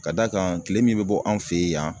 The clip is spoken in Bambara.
Ka d'a kan kile min be bɔ anw fe yen yan